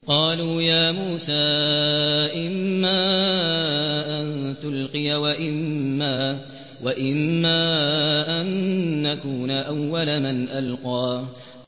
قَالُوا يَا مُوسَىٰ إِمَّا أَن تُلْقِيَ وَإِمَّا أَن نَّكُونَ أَوَّلَ مَنْ أَلْقَىٰ